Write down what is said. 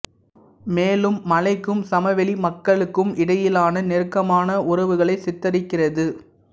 மேலும் மலைக்கும் சமவெளி மக்களுக்கும் இடையிலான நெருக்கமான உறவுகளை சித்தரிக்கிறது